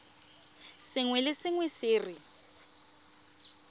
sengwe le sengwe se re